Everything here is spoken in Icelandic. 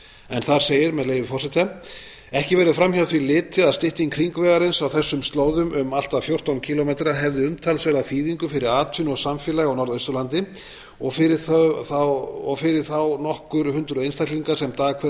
en þar segir með leyfi forseta ekki verður fram hjá því litið að stytting hringvegarins á þessum slóðum um allt að fjórtán kílómetra hefði umtalsverða þýðingu fyrir atvinnu og samfélag á norðausturlandi og fyrir þá nokkur hundruð einstaklinga sem dag hvern